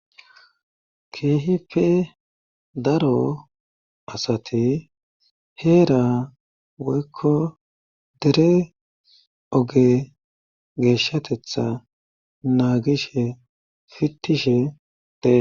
keehipe daro asati heera woykko dere oge geeshshatetha naagishe fittishe dee